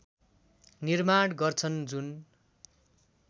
निर्माण गर्छन् जुन